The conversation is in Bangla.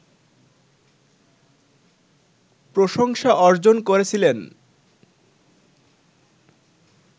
প্রশংসা অর্জন করেছিলেন